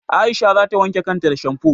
Aisha za ta wanke kan ta da shamfo.